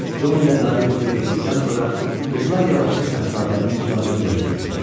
Con ilə qarı yuxuya getdikdən sonra qızlar yavaşca şahzadənin uzandığı yerə getdilər.